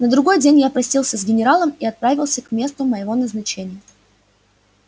на другой день я простился с генералом и отправился к месту моего назначения